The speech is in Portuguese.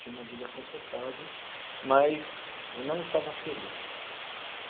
Tinha uma vida confortável, mas não estava feliz.